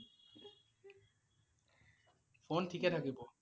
Phone ঠিকে থাকিব ।